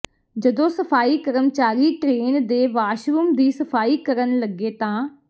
ਜਦੋਂ ਸਫ਼ਾਈ ਕਰਮਚਾਰੀ ਟ੍ਰੇਨ ਦੇ ਵਾਸ਼ਰੂਮ ਦੀ ਸਫ਼ਾਈ ਕਰਨ ਲੱਗੇ ਤਾਂ